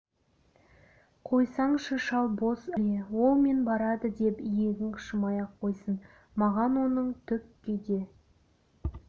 қойсаңшы шал бос әуре ол мен барады деп иегің қышымай ақ қойсын маған оның түкке де